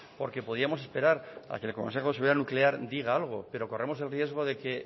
porque podríamos esperar a que el consejo de seguridad nuclear diga algo pero corremos el riesgo de que